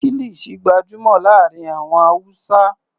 Kilisi gbajúmọ̀ láàárín àwọn Hausa.